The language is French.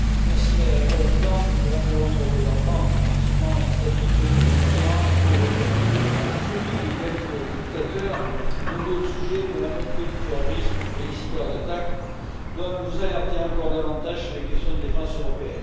Madame la Présidente, Madame la Haute représentante, effectivement, l'instabilité au Moyen Orient, la pauvreté en Afrique, la folie de quelques dictateurs et bien d'autres sujets, dont la montée du terrorisme et les cyberattaques, doivent nous alerter encore davantage sur les questions de défense européenne.